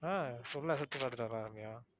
ஆஹ் full ஆ சுத்தி பாத்துட்டு வரலாம் ரம்யா.